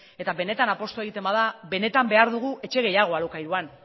eta benetan apustua egiten bada benetan behar dugu etxe gehiago alokairuan